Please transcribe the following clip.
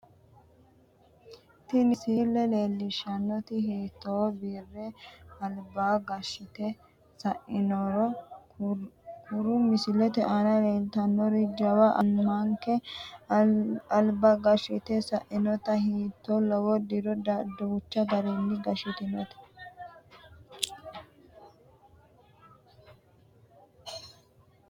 ,tiniisile leellishshannoti hattino bire alba gashshite sainori kuro misilete aana leeltannori jawa amanke alba gashshite sainote hattino lowo diro danchu garinni gashshitino